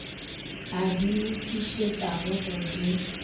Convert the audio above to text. a di lokišetšago go di